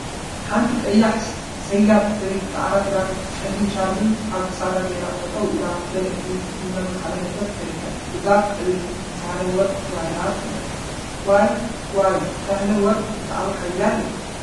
ሓንቲ ቀያሕ ሰያብ ሰበይቲ ፃዕዳ ክዳንን ፀሊም ሻርፕን አብ ክሳዳ ገይራ ጠጠው ኢላ መልእክቲ እናመሓላለፈት ትርከብ፡፡ እዛ ሰበይቲ ሳህለ ወርቅ ተባሂላ ትፍለጥ፡፡ እዋይ!…እዋይ!... ሳህለ ወርቅ ብጣዕሚ ሓያል እያ፡፡